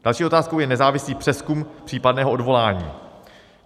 Další otázkou je nezávislý přezkum případného odvolání.